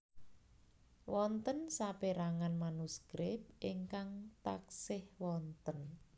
Wonten saperangan manuskrip ingkang taksih wonten